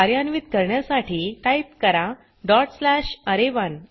कार्यान्वीत करण्यासाठी टाइप करा डॉट स्लॅश अरे1